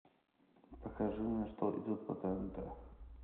покажи мне что идет по тнт